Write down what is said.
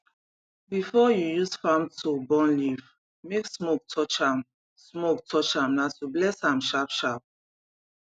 before you use farm tool burn leaf make smoke touch am smoke touch am na to bless am sharpsharp